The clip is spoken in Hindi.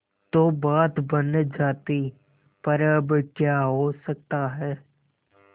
तो बात बन जाती पर अब क्या हो सकता है